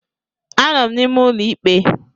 Anọ m n'ime ụlọ ikpe